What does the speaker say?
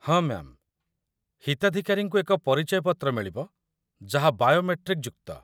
ହଁ ମ୍ୟା'ମ୍, ହିତାଧିକାରୀଙ୍କୁ ଏକ ପରିଚୟ ପତ୍ର ମିଳିବ ଯାହା ବାୟୋମେଟ୍ରିକ୍ ଯୁକ୍ତ